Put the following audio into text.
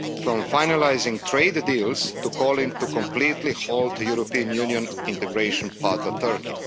From finalising trade deals, to calling to completely halt the European Union integration path of Turkey.